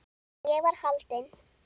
En ég var haldin.